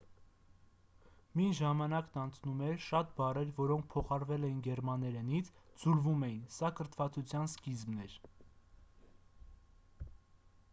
մինչ ժամանակն անցնում էր շատ բառեր որոնք փոխառվել էին գերմաներենից ձուլվում էին սա կրթվածության սկիզբն էր